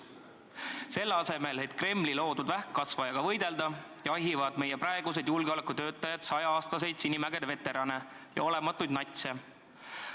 Selle asemel, et Kremli loodud vähkkasvajaga võidelda, jahivad meie praegused julgeolekutöötajad saja-aastaseid Sinimägede veterane ja olematuid natse.